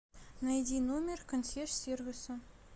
найди номер консьерж сервиса